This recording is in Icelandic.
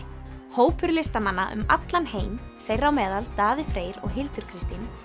hópur listamanna um allan heim þeirra á meðal Daði Freyr og Hildur Kristín